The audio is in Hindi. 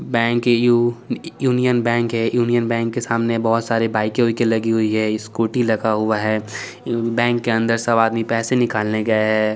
बैंक ऐ_यु यूनियन बैंक है यूनियन बैंक के सामने बोहत सारे बाइके हाइके लगी हुई है स्कूटी रखी हुई है बैंक के अंदर सब आदमी पैसे निकलने गए है।